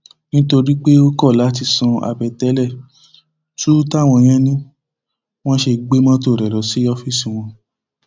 nítorí pé ó kọ láti san àbẹtẹlẹ túú táwọn yẹn ni wọn ṣe gbé mọtò rẹ lọ sí ọfíìsì wọn